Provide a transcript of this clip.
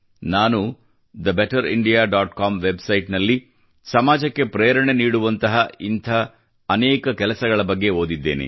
ನಾನು the better India dot com website ನಲ್ಲಿ ಸಮಾಜಕ್ಕೆ ಪ್ರೇರಣೆ ನೀಡುವಂತಹ ಅನೇಕ ಇಂಥ ಕೆಲಸಗಳ ಬಗ್ಗೆ ಓದಿದ್ದೇನೆ